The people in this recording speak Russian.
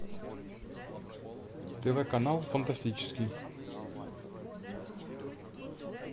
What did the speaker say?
тв канал фантастический